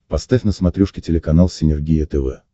поставь на смотрешке телеканал синергия тв